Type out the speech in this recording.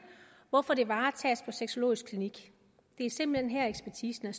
hvorfor det varetages på sexologisk klinik det er simpelt hen her ekspertisen